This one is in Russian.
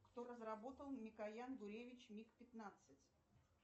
кто разработал микоян гуревич миг пятнадцать